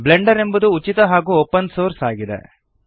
Blender ಎಂಬುದು ಉಚಿತ ಹಾಗೂ ಓಪನ್ ಸೋರ್ಸ್ ಆಗಿದೆ